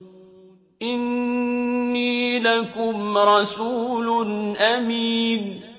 إِنِّي لَكُمْ رَسُولٌ أَمِينٌ